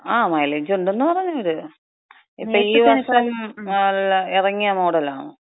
ങാ, മൈലേജക്ക ഒണ്ടെന്ന് പറഞ്ഞവര്. ഇത്, ഇപ്പം ഈ വർഷം എറങ്ങിയ മോഡലാണ്.